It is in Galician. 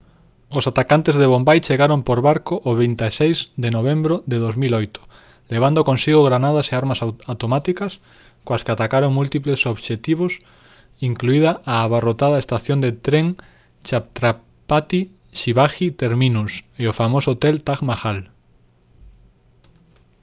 os atacantes de bombai chegaron por barco o 26 de novembro de 2008 levando consigo granadas e armas automáticas coas que atacaron múltiples obxectivos incluída a abarrotada estación de tren chhatrapati shivaji terminus e o famoso hotel taj mahal